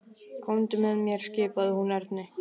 Komdu með mér skipaði hún Erni.